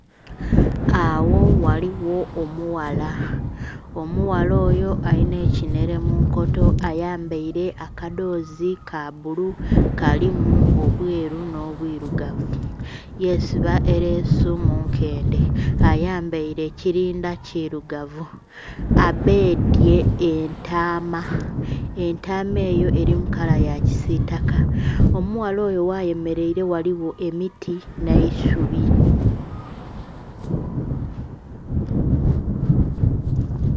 Agho ghaligho omughala, omughala oyo alinhekinhere munkoto, ayambere akadhozi kabbulu kalimu obweru nho bwiirugavu yesiba eresu munkendhe, ayambeile ekirindha kirugavu, abedhwe entama , entama eyo eri mukala yakisitaka, omughala oyo ghayemereire ghaligho emiti nh'eisubi.